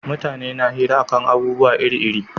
Mutane na hira a kan abubuwa iri iri